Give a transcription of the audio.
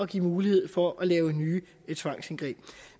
give mulighed for at lave nye tvangsindgreb